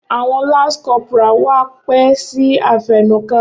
Awọn lance corporal wá pẹ si afẹnuka.